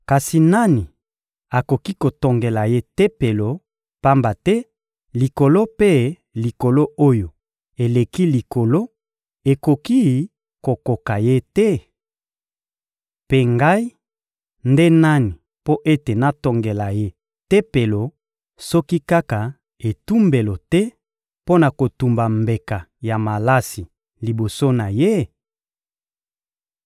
Kasi nani akoki kotongela Ye Tempelo, pamba te Likolo mpe Likolo oyo eleki likolo ekoki kokoka Ye te? Mpe ngai nde nani mpo ete natongela Ye Tempelo, soki kaka etumbelo te mpo na kotumba mbeka ya malasi liboso na Ye?